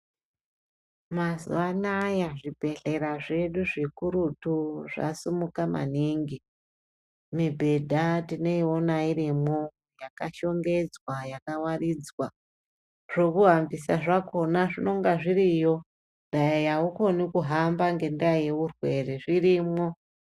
Mazuwa anaya zvibhendhlera zvedu zvikurutu zvasimuka maningi. Mibhenda tinoiona irimwo yakashongedzwa yakawaridzwa. Zvekuhambisa zvakona zvinonga zviriyo, dai aukoni kuhamba ngendaa yeurwere zvirimwo.